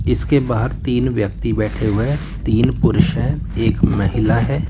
इसके बाहर तीन व्यक्ति बैठे हुए हैं तीन पुरुष है एक महिला है।